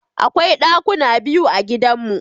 Akwai ɗakuna biyu a gidanmu.